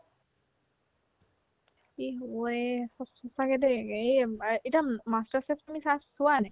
কি হ'ব এ সচ সচ্চাকে দেই এই অম্ এতিয়া উম master chef তুমি চা চোৱানে নাই